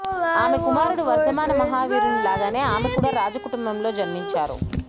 ఆమె కుమారుడు వర్థమాన మహావీరుని లాగానే ఆమె కూడా రాజ కుటుంబంలో జన్మించారు